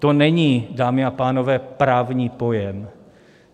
To není, dámy a pánové, právní pojem.